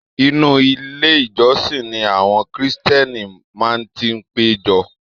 Inú ilé ìjósìn ni àwọn kírísítẹ́nì máa n ti pejọ.